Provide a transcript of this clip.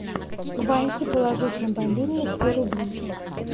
ваньке положить на мобильный сто рублей